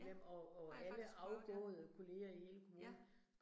Ja, har jeg faktisk prøvet ja. Ja